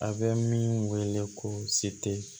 A bɛ min wele ko se tɛ